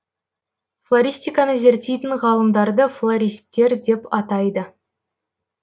флористиканы зерттейтін ғалымдарды флористтер деп атайды